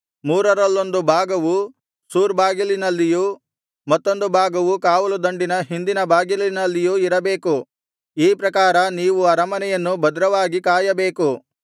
ಮೂರರಲ್ಲೊಂದು ಭಾಗವು ಸೂರ್ ಬಾಗಿಲಿನಲ್ಲಿಯೂ ಮತ್ತೊಂದು ಭಾಗವು ಕಾವಲುದಂಡಿನ ಹಿಂದಿನ ಬಾಗಿಲಿನಲ್ಲಿಯೂ ಇರಬೇಕು ಈ ಪ್ರಕಾರ ನೀವು ಅರಮನೆಯನ್ನು ಭದ್ರವಾಗಿ ಕಾಯಬೇಕು